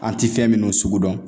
An ti fɛn minnu sugu dɔn